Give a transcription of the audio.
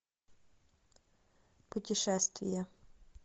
путешествие